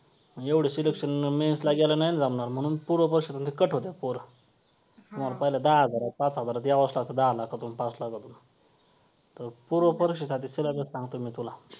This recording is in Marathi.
मग एवढं selection mains ला घ्यायला नाही ना जमणार म्हणून पूर्व परीक्षेमधले cut होत्यात पोरं पहिल्या दहा हजारात, पाच हजारात यावंच लागतं. दहा लाखातून, पाच लाखातून तर पूर्व परीक्षेसाठी syllabus सांगतो मी तुला